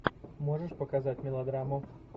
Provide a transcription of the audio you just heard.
можешь показать мелодраму